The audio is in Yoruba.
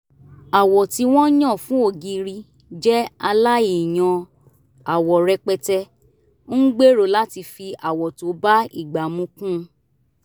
àwọ̀ tí wọ́n yàn fún ògiri jẹ́ aláìyan àwọ rẹpẹtẹ ń gbèrò láti fi àwọ̀ tó bá ìgbà mu kún